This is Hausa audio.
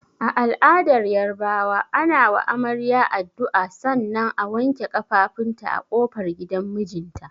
A al'adar Yarabawa, ana wa amarya addu'a sannan a wanke kafafunta a kofar gidan mijinta.